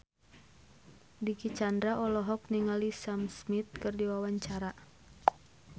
Dicky Chandra olohok ningali Sam Smith keur diwawancara